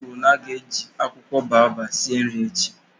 O kwuru na a ga-eji akwụkwọ boababab sie nri echi